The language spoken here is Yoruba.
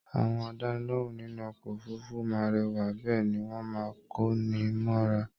Àwọn àdánilohùn nínú ọkọ òfurùnfu máa rẹwa bẹẹni wọn máa n ko ní mọra